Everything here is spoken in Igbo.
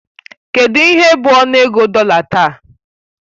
Kedụ ihe bụ ọnụego dollar taa?